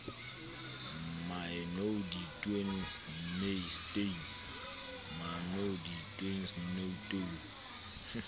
my nou te doen staan